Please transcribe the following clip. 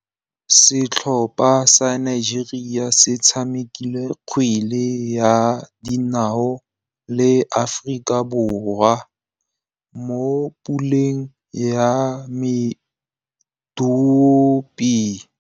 Setlhopha sa Nigeria se tshamekile kgwele ya dinaô le Aforika Borwa mo puleng ya medupe.